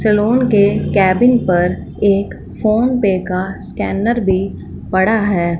Salon के cabin पर एक फोन पे का स्कैनर भी पड़ा है।